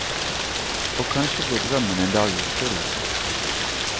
Og kanskje går drømmen en dag i oppfyllelse.